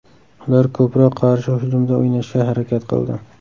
Ular ko‘proq qarshi hujumda o‘ynashga harakat qildi.